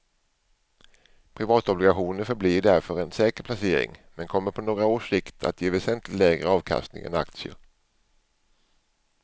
Privatobligationer förblir därför en säker placering men kommer på några års sikt att ge väsentligt lägre avkastning än aktier.